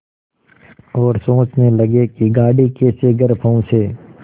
और सोचने लगे कि गाड़ी कैसे घर पहुँचे